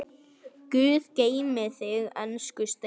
Guð geymi þig, elsku Steini.